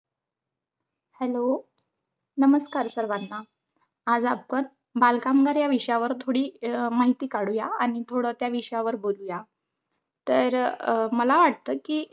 Hello नमस्कार सर्वांना. आज आपण बालकामगार या विषयावर थोडी अं थोडी माहिती काढूया आणि त्या विषयावर थोडं बोलूया. तर अं मला वाटतं कि,